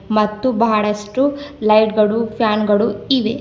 ಮತ್ತು ಬಹಳಷ್ಟು ಲೈಟ್ ಗಳು ಫ್ಯಾನ್ ಗಳು ಇವೆ.